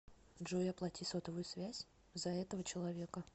джой оплати сотовую связь за этого человека